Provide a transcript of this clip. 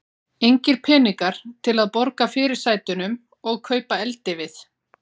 Engir peningar til að borga fyrirsætunum og kaupa eldivið.